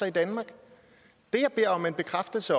i danmark det jeg beder om en bekræftelse